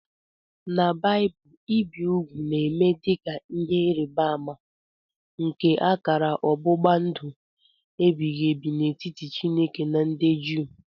N' baaibul ibi ụgwụ na-eme dika ihe ịrịba ama nke akara ọgbụgba ndụ ebighị ebi n'etiti chineke na ndị Jew.